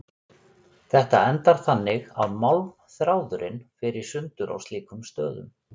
Þetta endar þannig að málmþráðurinn fer í sundur á slíkum stöðum.